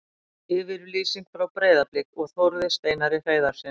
Yfirlýsing frá Breiðablik og Þórði Steinari Hreiðarssyni.